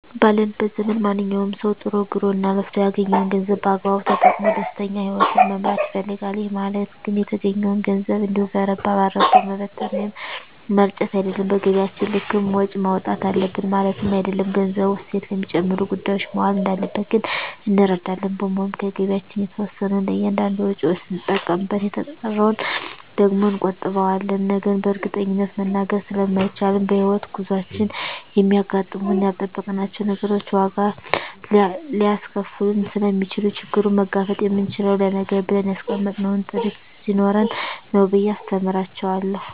ባለንበት ዘመን ማንኛዉም ሰዉ ጥሮ ግሮእና ለፍቶ ያገኘዉን ገንዘብ በአግባቡ ተጠቅሞ ደስተኛ ህይወትን መምራት ይፈልጋል ይህ ማለት ግን የተገኘዉን ገንዘብ እንዲሁ በረባ ባረባዉ መበተን ወይም መርጨት አይደለም በገቢያችን ልክም ወጪ ማዉጣት አለብን ማለትም አይደለም ገንዘቡ እሴት ለሚጨምሩ ጉዳዮች መዋል እንዳለበት ግን እንረዳለን በመሆኑም ከገቢያችን የተወሰነዉን ለእያንዳንድ ወጪዎች ስንጠቀምበት የተቀረዉን ደግሞ እንቆጥበዋለን ነገን በእርግጠኝነት መናገር ስለማይቻልም በሕይወት ጉዟችን የሚያጋጥሙን ያልጠበቅናቸዉ ነገሮች ዋጋ ሊያስከፍሉን ስለሚችሉ ችግሩን መጋፈጥ የምንችለዉ ለነገ ብለን ያስቀመጥነዉ ጥሪት ስኖረን ነዉ ብየ አስተምራቸዋለሁ